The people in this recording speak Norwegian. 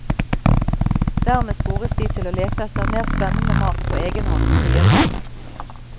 Dermed spores de til å lete etter mer spennende mat på egen hånd, sier hun.